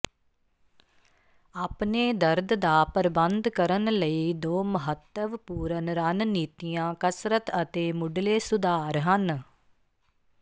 ਆਪਣੇ ਦਰਦ ਦਾ ਪ੍ਰਬੰਧ ਕਰਨ ਲਈ ਦੋ ਮਹੱਤਵਪੂਰਨ ਰਣਨੀਤੀਆਂ ਕਸਰਤ ਅਤੇ ਮੁਢਲੇ ਸੁਧਾਰ ਹਨ